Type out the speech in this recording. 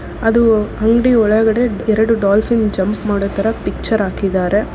ಅದು ಅಂಗಡಿ ಒಳಗಡೆ ಎರಡು ಡಾಲ್ಫಿನ್ ಜಂಪ್ ಮಾಡೋ ತರ ಪಿಚ್ಚರ್ ಹಾಕಿದಾರೆ.